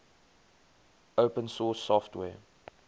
open source software